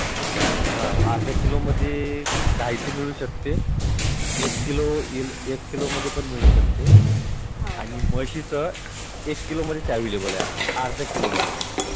हां अर्धा किलो मध्ये गाईच मिळु शकते. एक किलो मध्ये पण मिळुन शकते आणि. म्हशीच एक किलो मध्येच Available आहे हां अर्धा किलो मध्ये नाही.